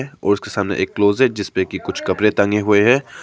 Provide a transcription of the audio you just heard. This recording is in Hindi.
और उसके सामने एक क्लोसेट जिसपे की कुछ कपड़े टंगे हुए है।